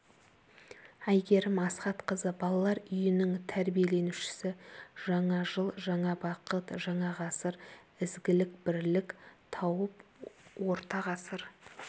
әйгерім асхатқызы балалар үйінің тәрбиеленушісі жаңа жыл жаңа бақыт жаңа ғасыр ізгілік бірлік тауып орта ғысыр